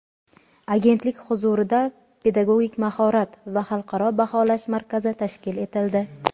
Agentlik huzurida Pedagogik mahorat va xalqaro baholash markazi tashkil etildi.